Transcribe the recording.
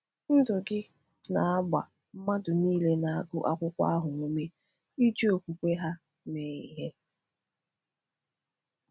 Ndụ gị na-agba mmadụ niile na-agụ akwụkwọ ahụ ume iji okwukwe ha mee ihe.”